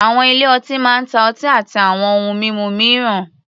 Àwọn ilé-ọtí máa ń ta ọtí àti àwọn ohun mímu mìíràn.